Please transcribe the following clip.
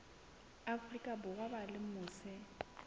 afrika borwa ba leng mose